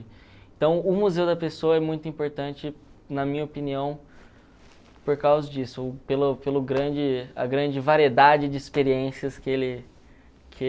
Então, o museu da pessoa é muito importante, na minha opinião, por causa disso, pelo pelo grande a grande variedade de experiências que ele